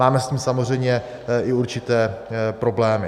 Máme s tím samozřejmě i určité problémy.